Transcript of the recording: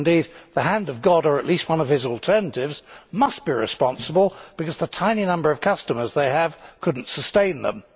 Indeed, the hand of God or at least one of his alternatives must be responsible, because the tiny number of customers they have could not sustain them.